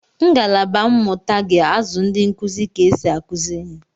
Ngalaba mmụta ga-azụ ndị nkuzi ka esi akụzi ihe